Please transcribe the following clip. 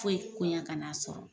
Foyi koɲan ka n'a sɔrɔ.